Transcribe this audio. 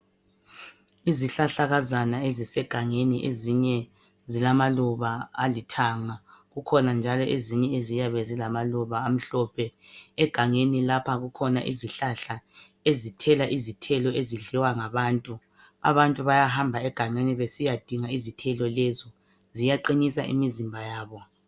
Izihlahlakazana ezisegangeni ezinye zilamaluba alithanga, kukhona njalo ezinye eziyabe zilamaluba amhlophe. Egangeni lapha kukhona izihlahla ezithela izithelo ezidliwa ngabantu. Abantu bayahamba egangeni besiyadinga izithelo lezo ziyaqinisa imizimba yabo.